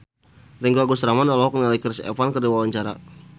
Ringgo Agus Rahman olohok ningali Chris Evans keur diwawancara